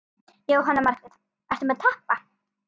Jóhanna Margrét: Ertu að tapa?